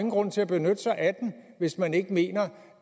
grund til at benytte sig af den hvis man ikke mener